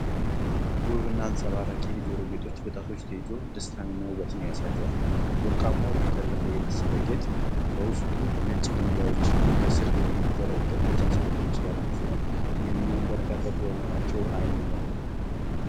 ውብና አንጸባራቂ የጆሮ ጌጦች፣ በጣቶች ተይዘው ደስታንና ውበትን ያሳያሉ። ወርቃማው፣ የተጠለፈ የመሰለ ጌጥ በውስጡ ነጭ ድንጋዮችና ከሥር የሚንዘረገፉ ሰንሰለቶች ያሉት ሲሆን፣ የሚያብረቀርቁ በመሆናቸው ዓይንን ይማርካሉ።